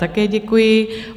Také děkuji.